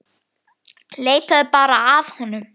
Leitaðu bara að honum.